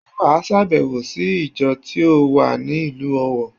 Sé wà sàbèwò sí ìjọ tí ó wà ní ìlú Òwọ̀